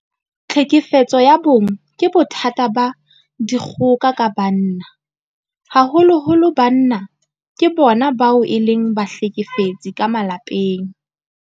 Tlhekefetso ya bong ke bothata ba dikgoka ka banna. Haholoholo banna ke bona bao e leng bahlekefetsi ka malapeng.